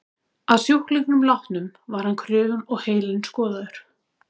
Að sjúklingnum látnum var hann krufinn og heilinn skoðaður.